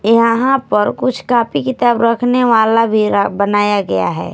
यहां पर कुछ कॉपी किताब रखने वाला भी बनाया गया है।